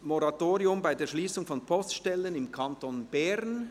«Moratorium bei der Schliessung von Poststellen im Kanton Bern».